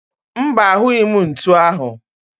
Mba, ahụghi m ntu ahụ